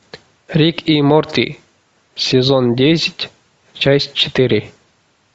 рик и морти сезон десять часть четыре